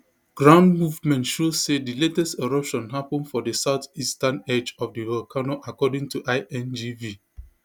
ground movement show say di latest eruption happun for di south eastern edge of di volcano according to ingv